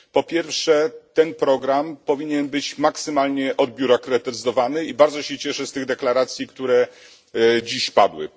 Po pierwsze, ten program powinien być maksymalnie odbiurokratyzowany i bardzo się cieszę z deklaracji, które dziś padły.